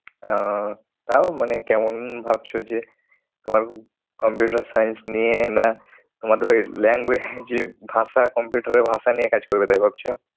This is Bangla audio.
আহ তাও মানে কেমন ভাবছো যে তোমার computer science নিয়ে, না তোমাদের ওই language এ যে ভাষা computer এর ভাষা নিয়ে কাজ করবে তাই ভাবছো?